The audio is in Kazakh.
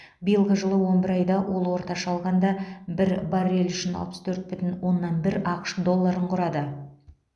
биылғы жылғы он бір айда ол орташа алғанда бір баррель үшін алпыс төрт бүтін оннан бір ақш долларын құрады